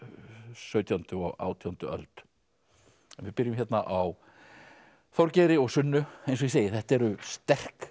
sautjándu og átjándu öld en við byrjum hérna á Þorgeiri og Sunnu eins og ég segi þetta eru sterk